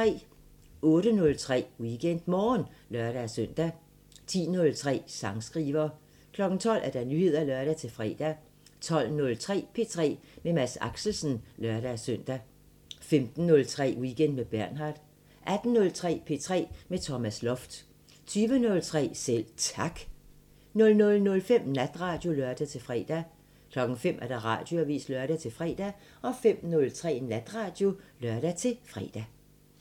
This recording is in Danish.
08:03: WeekendMorgen (lør-søn) 10:03: Sangskriver 12:00: Nyheder (lør-fre) 12:03: P3 med Mads Axelsen (lør-søn) 15:03: Weekend med Bernhard 18:03: P3 med Thomas Loft 20:03: Selv Tak 00:05: Natradio (lør-fre) 05:00: Radioavisen (lør-fre) 05:03: Natradio (lør-fre)